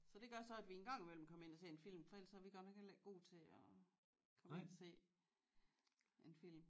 Så det gør så at vi engang imellem kommer ind og ser en film for ellers er vi godt nok heller ikke gode til at komme ind og se en film